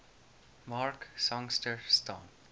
mark sangster staan